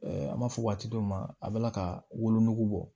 an b'a fɔ waati dɔw ma a bɛla ka wolonugu bɔ